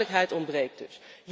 Duidelijkheid ontbreekt dus.